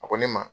A ko ne ma